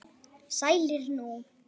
Sælir nú.